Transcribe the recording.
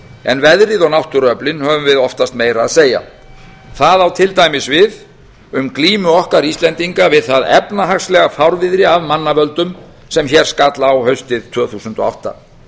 en um veðrið og náttúruöflin höfum við oftast meira að segja það á til dæmis við um glímu okkar íslendinga við það efnahagslega fárviðri af mannavöldum sem hér skall á haustið tvö þúsund og átta